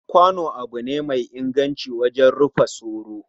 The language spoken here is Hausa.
Kwano abu ne mai inganci wajen rufa soro,